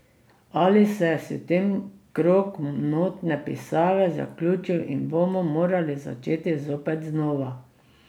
Ali se je s tem krog notne pisave zaključil in bomo morali začeti zopet znova?